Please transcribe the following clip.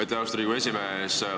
Aitäh, austatud Riigikogu esimees!